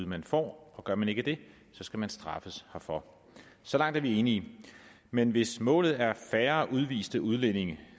man får og gør man ikke det skal man traffes herfor så langt er vi enige men hvis målet er at færre udviste udlændinge